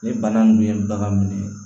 Ni bana nunnu ye bagan minɛ